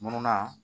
Mununa